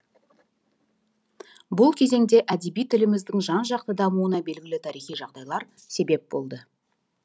бұл кезеңде әдеби тіліміздің жанжақты дамуына белгілі тарихи жағдайлар себеп болды